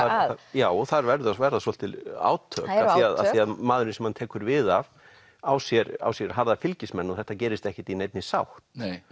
já og þar verða verða svolítil átök af því maðurinn sem hann tekur við af á sér á sér harða fylgismenn og þetta gerist ekkert í neinni sátt